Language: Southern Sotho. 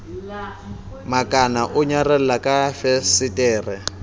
makana o nyarela ka fesetere